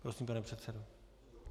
Prosím, pane předsedo.